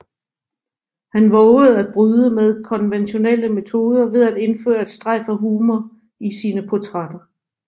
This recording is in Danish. Han vovede at bryde med konventionelle metoder ved at indføre et strejf af humor i sine portrætter